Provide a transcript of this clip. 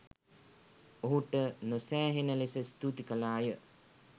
ඔහුට නොසෑහෙන ලෙස ස්තූති කළාය